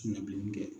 Sina bilen